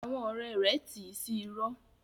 Àwọn ọrẹ rẹ ti sí irọ́.